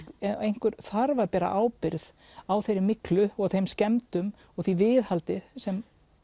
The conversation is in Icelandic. einhver þarf að bera ábyrgð á þeirri myglu og þeim skemmdum og því viðhaldi sem